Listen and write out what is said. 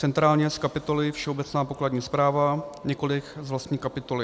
Centrálně z kapitoly Všeobecná pokladní správa, nikoli z vlastní kapitoly.